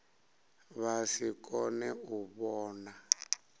vha si kone u vhona